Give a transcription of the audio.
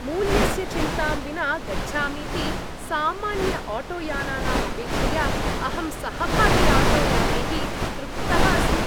मूल्यस्य चिन्तां विना गच्छामीति सामान्यआटोयानानाम् अपेक्षया अहं सहभागीआटोयानैः तृप्तः अस्मि।